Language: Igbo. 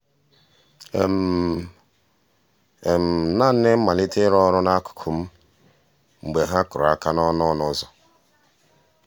naanị malite ịrụ ọrụ n'akụkụ m mgbe ha kụrụ aka n'ọnụ n'ọnụ ụzọ.